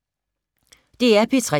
DR P3